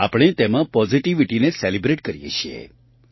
આપણે તેમાં પૉઝિટિવિટીને સેલિબ્રેટ કરીએ છીએ